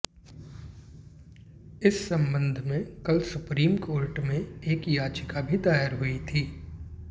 इस संबंध में कल सुप्रीम कोर्ट में एक याचिका भी दायर हुई थी